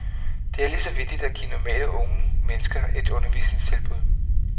Det er lige så vigtigt at give normale unge mennesker et undervisningstilbud.